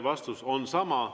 Vastus on sama.